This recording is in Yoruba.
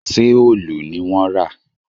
Ṣé òòlù ni wọ́n rà?